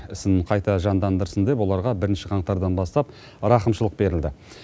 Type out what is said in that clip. ісін қайта жандандырсын деп оларға бірінші қаңтардан бастап рақымшылық берілді